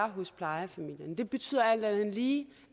hos plejefamilierne og det betyder alt andet lige